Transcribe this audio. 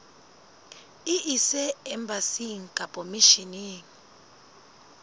e ise embasing kapa misheneng